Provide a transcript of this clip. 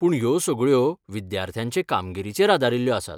पूण ह्यो सगळ्यो विद्यार्थ्यांचे कामगिरीचेर आदारील्ल्यो आसात.